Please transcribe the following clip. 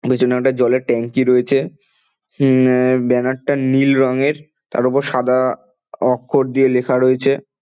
পিছনে একটা জলের ট্যাঙ্কি রয়েছে উমম ব্যানার -টা নীল রঙের তার উপর সাদা অক্ষর দিয়ে লিখা রয়েছে ।